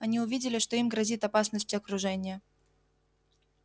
они увидели что им грозит опасность окружения